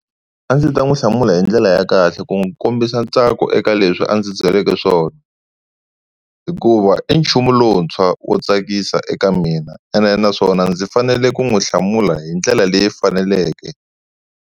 A ndzi ta n'wi hlamula hi ndlela ya kahle ku n'wi kombisa ntsako eka leswi a ndzi byeleke swona hikuva i nchumu lowuntshwa wo tsakisa eka mina ende naswona ndzi fanele ku n'wi hlamula hi ndlela leyi faneleke.